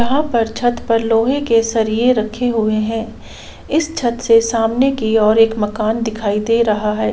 यहा पर छत पर लोहे के सरीये रखे हुए है इस छत से सामने की ओर एक मकान दिखाई दे रहा है।